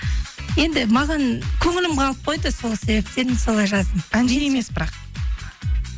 енді маған көңілім қалып қойды сол себептен солай жаздым емес бірақ